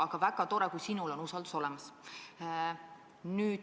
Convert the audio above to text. Aga väga tore, kui sinul on usaldus olemas.